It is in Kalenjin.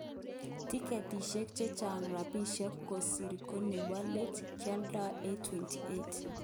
Tiketishek chechang rapishek kosir ko nebo let kioldo�828.